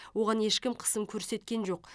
оған ешкім қысым көрсеткен жоқ